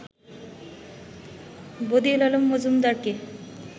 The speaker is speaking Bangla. বদিউল আলম মজুমদারকে